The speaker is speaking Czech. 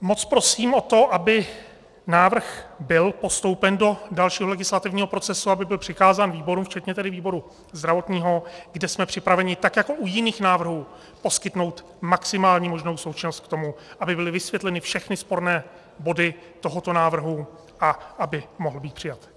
Moc prosím o to, aby návrh byl postoupen do dalšího legislativního procesu, aby byl přikázán výborům včetně tedy výboru zdravotního, kde jsme připraveni tak jako u jiných návrhů poskytnout maximální možnou součinnost k tomu, aby byly vysvětleny všechny sporné body tohoto návrhu a aby mohl být přijat.